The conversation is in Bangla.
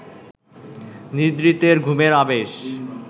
নিদ্রিতের ঘুমের আবেশ